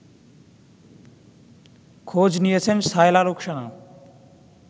খোঁজ নিয়েছেন শায়লা রুখসানা